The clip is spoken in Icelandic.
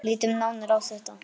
Lítum nánar á þetta.